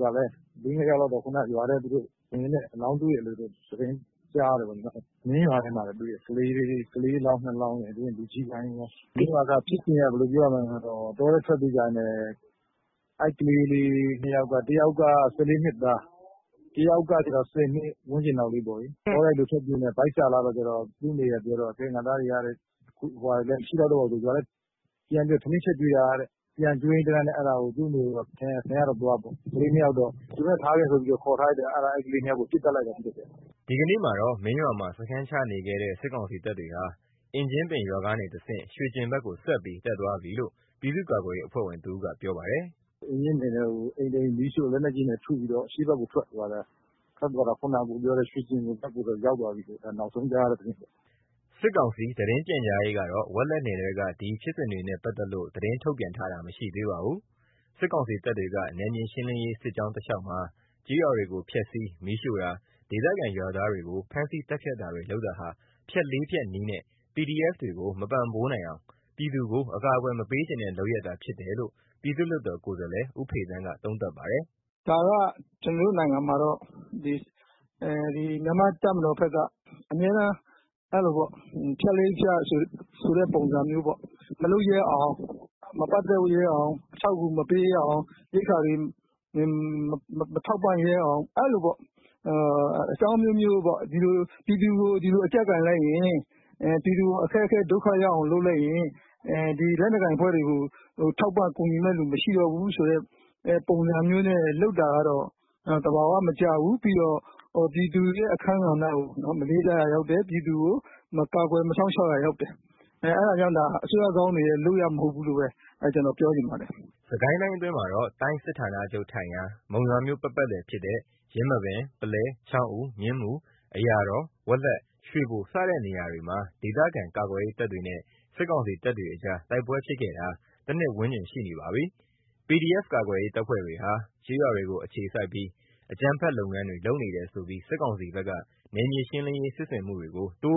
ကလည်း ၄၊ ၅ ယောက်လောက်တော့ ခုဏက သူတို့ ရွာထဲဝင်ရင်း အလောင်းတွေ့တယ်လို့တော့ သတင်းကြားတယ်။ မင်းရွာထဲမှာ တွေ့တာ ကလေးအလောင်း ၂ လောင်းရယ် လူကြီးပိုင်းရော။ ဖြစ်စဉ်က ဘယ်လိုပြောရမလဲဆိုတော့ တောထဲ ထွက်ပြေးကြရင်းနဲ့ အဲ့ကလေး ၂ ယောက်က တစ်ယောက်က ၁၄ နှစ်သား၊ တစ်ယောက်ကကျတော့ ၁၀ နှစ် ဝန်းကျင်လောက်လေးပေါ့။ တောထဲထွက်ပြေးရင်းနဲ့ ဗိုက်ဆာလာလို့ သူတို့အမေပြောတာကတော့ ငါ့သားတွေက အဲ့လိုပြောတော့ ရွာထဲမှာလည်း ဟိုကောင်တွေ မရှိကြတော့ဘူး ဆိုပြီးတော့ ပြန်ပြီး ထမင်း ချက်ကျွေးတာတဲ့။ ပြန်ကျွေးရင်းတန်းလန်းနဲ့ တွေ့တော့ အမေကိုတော့ ခင်ဗျားသွားပေါ့ ကလေး ၂ ယောက်ကတော့ သူတို့နဲ့ ထားခဲ့ဆိုပြီးတော့ ခေါ်ထားလိုက်တယ်။ ပြီးတော့ အဲ့ကလေး ၂ ယောက်ကို ပစ်သတ်လိုက်တာ။” ဒီကနေ့မှာတော့ မင်းရွာမှာ စခန်းချနေခဲ့တဲ့ စစ်ကောင်စီတပ်တွေဟာ အင်ကြင်းပင်ရွာကနေတဆင့် ရွှေကျင်ဖက်ကို ဆက်ပြီး တက်သွားပြီလို့ ပြည်သူ့ကာကွယ်ရေးအဖွဲ့ဝင်တစ်ဦးက ပြောပါတယ်။ “အင်ကြင်းပင်ထဲကို အိမ်တစ်အိမ်မီးရှို့ လက်နက်ကြီးတွေနဲ့ ထုပြီးတော့ အရှေ့ဖက်ကို ထွက်သွားတယ်။ ခုဏကတော့ ရွှေကျင်ဖက်ကို ရောက်သွားပြီလို့တော့ နောက်ဆုံး သတင်းရတာပေါ့။” စစ်ကောင်စီ သတင်းပြန်ကြားရေးကတော့ ဝက်လက်နယ်ထဲက ဒီဖြစ်စဉ်တွေနဲ့ ပတ်သက်လို့ ထုတ်ပြန်တာမရှိသေးပါဘူး။ စစ်ကောင်စီတပ်တွေက နယ်မြေရှင်းလင်းရေး စစ်ကြောင်းတစ်လျှောက်မှာ ကျေးရွာတွေကို ဖျက်ဆီး၊ မီးရှို့တာ၊ ဒေသခံရွာသားတွေကို ဖမ်းဆီး သတ်ဖြတ်တာတွေ လုပ်တာဟာ ဖြတ် ၄ ဖြတ်နည်းနဲ့ PDF တွေကို မပံ့ပိုးနိုင်အောင်၊ ပြည်သူကို အကာအကွယ်မပေးချင်တဲ့လုပ်ရပ်သာ ဖြစ်တယ်လို့ ပြည်သူ့လွတ်တော် ကိုယ်စားလှယ် ဦးဖေသန်းက သုံးသပ်ပါတယ်။ " ဒါက ကျွန်တော်တို့ နိုင်ငံမှာတော့ မြန်မာ့တပ်မတော်ဖက်က အမြဲတမ်း ဖြတ်လေးဖြတ်ဆိုတဲ့ သဘောမျိုးပေါ့၊ မလုပ်ရဲအောင် မပတ်သက်ရဲအောင် အထောက်အကူမပေးရဲအောင် ရိက္ခာတွေ မထောက်ပံ့ရဲအောင် အဲ့လိုပေါ့။ အဲ့လို အကြောင်းအမျိုးမျိုးပေါ့။ ပြည်သူကို ဒီလို အကျပ်ကိုင်လိုက်ရင် ပြည်သူကို အခက်အခဲ ဒုက္ခရောက်အောင် လုပ်လိုက်ရင် လက်နက်ကိုင်အဖွဲ့တွေကို ထောက်ပံ့ကူညီမယ့်သူ မရှိတော့ဘူးဆိုတဲ့ ပုံစံမျိုးနဲ့ လုပ်တာကတော့ သဘာဝ မကျဘူး။ ပြီးတော့ ပြည်သူရဲ့ အခန်းကဏ္ဍကို မလေးစားရာရောက်တယ်။ ပြည်သူကို မကာကွယ် မစောင့်ရှောက်ရာ ရောက်တယ်။ အဲ့ဒါကြောင်း ဒါတွေဟာ အစိုးရကောင်းတွေရဲ့ လုပ်ရပ်မဟုတ်ဘူးလို့ပဲ ပြောချင်ပါတယ်။” စစ်ကိုင်းတိုင်းအတွင်းမှာတော့ တိုင်းစစ်ဌာနချုပ်အခြေစိုက်ရာ မုံရွာမြို့ အနီးဝန်းကျင်မှာရှိတဲ့ ယင်းမာပင်၊ ပုလဲ၊ ချောင်းဦး၊ မြင်းမူ၊ အရာတော်၊ ဝက်လက်၊ ရွှေဘို စတဲ့ နေရာတွေမှာ ဒေသခံကာကွယ်ရေးတပ် တွေနဲ့စစ်ကောင်စီတပ်တွေအကြားတိုက်ပွဲ ဖြစ်နေတာ ၁ နှစ်ဝန်းကျင်ရှိနေပါပြီ။ PDF ကာကွယ်ရေးတပ်တွေဟာ ကျေးရွာတွေကို အခြေစိုက်ပြီး၊ အကြမ်းဖက်လုပ်ငန်းတွေ လုပ်နေတယ်လို့ဆိုပြီး စစ်ကောင်စီဖက်က နယ်မြေရှင်းလင်း စစ်ဆင်မှုတွေ တိုး